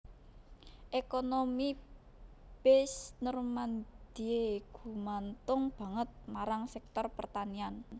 Ekonomi Basse Normandie gumantung banget marang sektor pertanian